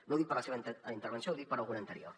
no ho dic per la seva intervenció ho dic per alguna anterior